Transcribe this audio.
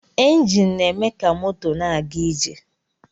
Enjin na-eme ka moto na-aga ije